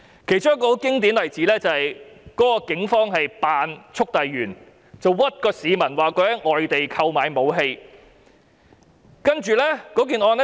其中一個很經典的例子是警方喬裝速遞員，冤枉市民在外地購買武器。